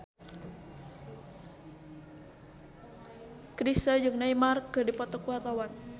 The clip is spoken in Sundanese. Chrisye jeung Neymar keur dipoto ku wartawan